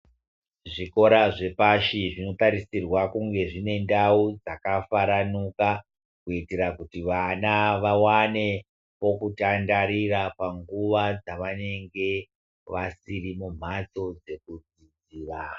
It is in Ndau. Zvikora zvepashi zvinotarisirwa kunge zvinendau dzakafaramuka. Kuitira kuti vana vavane pokutandarira panguva dzavanenge vasiri mumhatso dzekudzidzira.